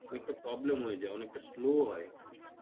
অনেকটা problem হয়ে যায় অনেকটা slow ও হয়